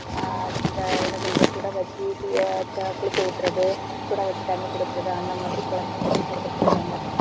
ஆஹ் இந்த என்ன சொல்றது சுட வச்சு குளிக்க ஊத்துறது சுட வச்சு தண்ணி குடுக்குறது அந்த மாதிரி குழந்தைகளுக்கும் குடுத்துட்டு இருக்காங்க.